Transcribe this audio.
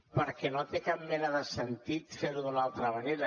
perquè no té cap mena de sentit fer ho d’una altra manera